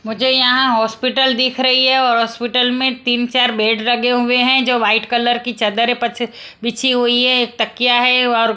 मुझे यहां हॉस्पिटल दिख रही है और हॉस्पिटल में तीन चार बेड रगे हुए हैं जो वाइट कलर की चद्दर पछ बिछी हुई है तकिया है और--